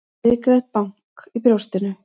Hrikalegt bank í brjóstinu.